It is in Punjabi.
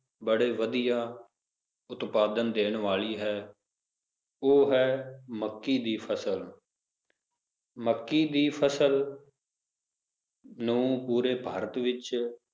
ਬੜੇ ਵਧੀਆ ਉਤਪਾਦਾਂ ਦੇਣ ਵਾਲੀ ਹੈ ਉਹ ਹੈ, ਮੱਕੀ ਦੀ ਫਸਲ ਮੱਕੀ ਦੀ ਫਸਲ ਨੂੰ ਪੂਰੇ ਭਾਰਤ ਵਿਚ